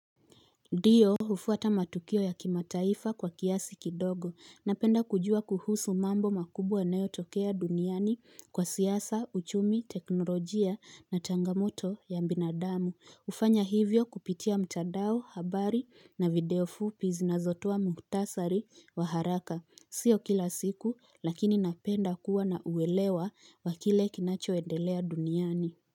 Ndiyo hufuata matukio ya kimataifa kwa kiasi kidogo, napenda kujua kuhusu mambo makubwa yanayotokea duniani kwa siasa, uchumi, teknolojia na changamoto ya binadamu, hufanya hivyo kupitia mtandao, habari na video fupi zinazotoa muktasari wa haraka, sio kila siku lakini napenda kuwa na uwelewa kile kinachoendelea duniani.